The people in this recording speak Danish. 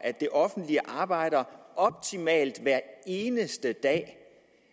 at det offentlige arbejder optimalt hver eneste dag